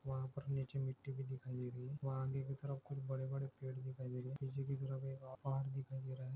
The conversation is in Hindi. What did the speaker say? वहा पर नीचे मिट्ठी भी दिखाई दे रही है वहा आगे की तरफ खुब बड़े बड़े पेड़ दिखाई दे रहे है पिच्छे की तरफ एक पहाड़ दिखाई दे रहा है।